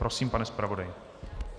Prosím, pane zpravodaji.